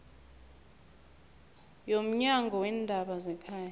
yomnyango weendaba zekhaya